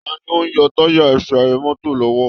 Ta ni ó ń yọ tayà ẹsẹ̀ mọ́tò lọ́wọ́